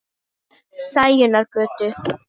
Sæunnargötu